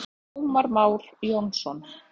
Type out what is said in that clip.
Ómar Már Jónsson.